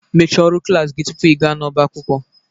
Mechaa ọrụ klas gị tupu ịga n'ọbá akwụkwọ